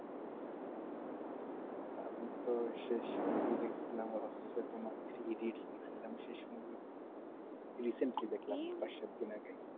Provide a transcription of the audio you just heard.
আমি তো শেষ মুভি দেখছিলাম হচ্ছে তোমার three idiots দেখছিলাম